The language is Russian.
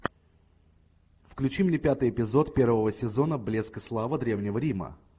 включи мне пятый эпизод первого сезона блеск и слава древнего рима